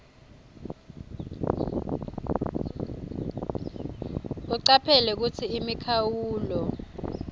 ucaphele kutsi imikhawulo